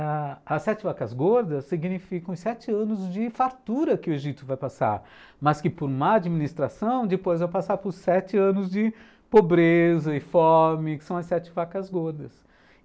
ãh, as sete vacas gordas significam os sete anos de fartura que o Egito vai passar, mas que por má administração depois vai passar por sete anos de pobreza e fome, que são as sete vacas gordas.